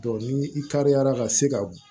ni i taarila ka se ka